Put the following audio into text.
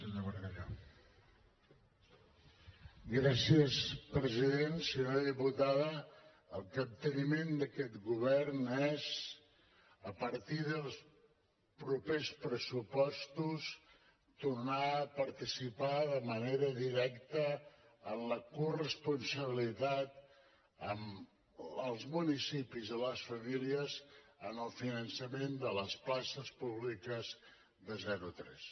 senyora diputada el capteniment d’aquest govern és a partir dels propers pressupostos tornar a participar de manera directa en la corresponsabilitat amb els municipis i les famílies en el finançament de les places públiques de zero a tres